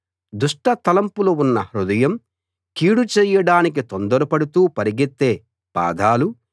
దుష్టతలంపులు ఉన్న హృదయం కీడు చేయడానికి తొందరపడుతూ పరిగెత్తే పాదాలు